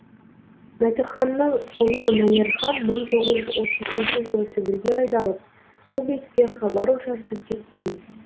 мәтіханның ұлы мәнерхан мың тоғыз жүз отыз үшінші жылы сібірге айдалып сол бетте хабар ошарсыз кеткен